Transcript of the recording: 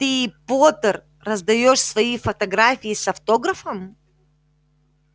ты поттер раздаёшь свои фотографии с автографом